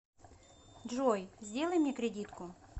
джой сделай мне кредитку